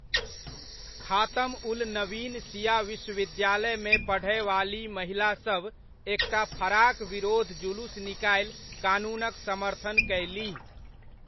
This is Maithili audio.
खातम उल नबीन शिया विश्वविद्यालयमे पढ़यवाली महिलासभ एकटा फराक विरोध जुलुस निकालि कानूनक समर्थन कयलीह।